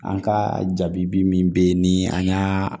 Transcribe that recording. An ka jaabi bi min bɛ yen ni an y'a